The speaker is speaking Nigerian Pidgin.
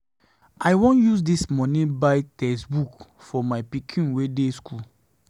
I wan use dis money buy textbooks for my pikin wey dey school.